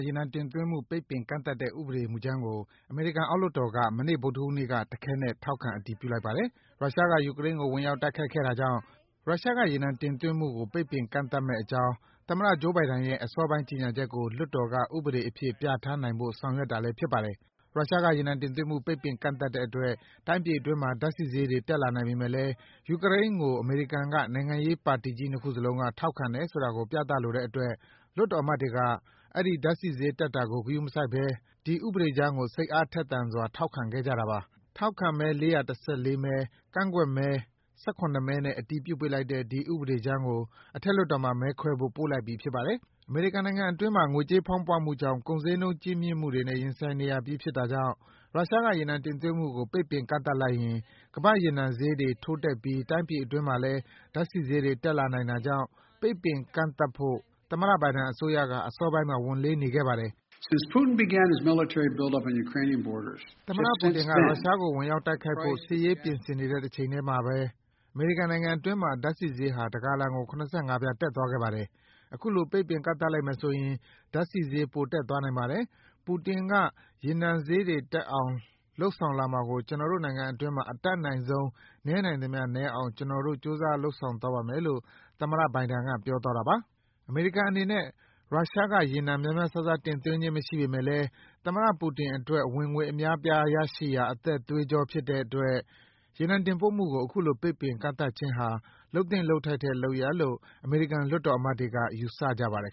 ရေနံတင်သွင်းမှု ပိတ်ပင်ကန့်သတ်တဲ့ ဥပဒေမူကြမ်းကို အမေရိကန်အောက် လွှတ်တော်က မနေ့ ဗုဒ္ဓဟူးနေ့မှာ တခဲနက် ထောက်ခံ အတည်ပြုလိုက်ပါတယ်။ ရုရှားက ယူကရိန်းကို ဝင်ရောက်တိုက်ခိုက်တဲ့တာကြောင့် ရုရှားက ရေနံတင်သွင်းမှုကို ပိတ်ပင်ကန့်သတ်မယ့်အကြောင်း သမ္မတ Joe Biden ရဲ့ အစောပိုင်းက ကြေညာချက်ကို လွှတ်တော်က ဥပဒေအဖြစ် ပြဌာန်းနိုင်ဖို့ ဆောင်ရွက်တာလည်း ဖြစ်ပါတယ်။ ရုရှားက ရေနံတင်သွင်းမှု ပိတ်ပင်ကန့်သတ်တဲ့အတွက် တိုင်းပြည်အတွင်းမှာ ဓာတ်ဆီဈေးတွေ တက်လာနိုင်ပေမယ့်လည်း အမေရိကန် နိုင်ငံရေးပါတီကြီး နှစ်ခုစလုံးက ယူကရိန်းကို ထောက်ခံတယ်ဆိုတာ ပြသလိုတဲ့အတွက် လွှတ်တော်အမတ်တွေက ဓာတ်ဆီဈေးတက်တာကို ဂရုမစိုက်ဘဲ ဒီဥပဒေကြမ်းကို စိတ်အားထက် သန်စွာ ထောက်ခံခဲ့ကြတာပါ။ ထောက်ခံမဲ ၄၁၄ မဲ၊ ကန့်ကွက်မဲ ၁၇ မဲနဲ့ အတည်ပြုပေးလိုက်တဲ့ ဒီဥပဒေကြမ်းကို အထက်လွှတ်တော်မှာ မဲခွဲရဦးမှာဖြစ်ပါတယ်။ အမေရိကန်နိုင်ငံအတွင်း ငွေကြေးဖောင်းပွမှုကြောင့် ကုန်ဈေးနှုန်းကြီးမြင့်မှုနဲ့ ရင်ဆိုင်နေရပြီးဖြစ်တာကြောင့် ရုရှားက ရေနံ တင်သွင်းမှုကို ပိတ်ပင်ကန့်သတ်လိုက်ရင် ကမ္ဘာ့ရေနံဈေးတွေ ထိုးတက်ပြီး တိုင်းပြည်အတွင်းမှာလည်း ဓာတ်ဆီဈေးတွေ တက်လာနိုင်တာကြောင့် ပိတ်ပင်ကန့်သတ်ဖို့ သမ္မတ Biden အစိုးရက အစောပိုင်းမှာ ဝန်လေးနေခဲ့တာပါ။ “သမ္မတပူတင်က ရုရှားကိုဝင်ရောက်တိုက်ခိုက်ဖို့ စစ်ရေးပြင်ဆင်နေတဲ့အချိန်မှာကိုပဲ အမေရိကန်နိုင်ငံတွင်းမှာ ဓာတ်ဆီဈေးဟာ တဂါလံကို ၇၅ ဆင့် တက်သွားခဲ့ပါတယ်။ အခု ပိတ်ပင်ကန့်သတ်လိုက်မယ်ဆိုရင် ဓာတ်ဆီဈေး ပိုပြီး တက်သွားနိုင်ပါတယ်။ ပူတင်က ရေနံဈေးတွေတက်အောင် လုပ်လာမှာဖြစ်တဲ့အတွက် ကျနော်တို့နိုင်ငံတွင်းမှာ အတတ်နိုင်ဆုံး နည်းနိုင်သမျှနည်းအောင် ကျနော် ကြိုးစားလုပ်ဆောင်သွားပါမယ်” လို့ သမ္မတ Biden က ပြောပါတယ်။ အမေရိကန်အနေနဲ့ ရုရှားကရေနံ များများစားစား တင်သွင်းခြင်းမရှိပေမယ့်လည်း သမ္မတပူတင်အတွက် ဝင်ငွေ အသက် သွေးကြောဖြစ်တဲ့အတွက် ရေနံတင်ပို့မှုကို အခုလို ပိတ်ပင်ကန့်သတ်ခြင်းဟာ လုပ်သင့်လုပ်ထိုက်တဲ့ လုပ်ရပ်လို့ အမေရိကန် လွှတ်တော်အမတ်တွေက ယူဆကြပါတယ်